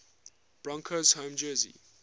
broncos home jersey